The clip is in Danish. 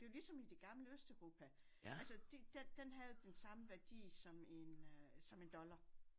Det jo ligesom i det gamle østeuropa altså de den den havde den samme værdi som en øh som en dollar